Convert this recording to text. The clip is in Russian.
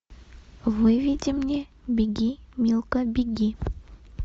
выведи мне беги милка беги